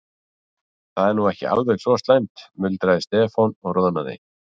Það er nú ekki alveg svo slæmt muldraði Stefán og roðnaði.